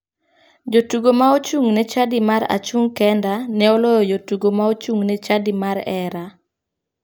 Jotugo ma ochung' ne chadi mar "achung' kenda" ne oloyo jotugo ma ochung'ne chadi mar "hera".